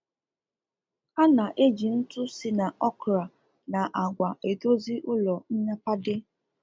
Ana eji ntụ si na okra na àgwà edozi ụrọ nnyapade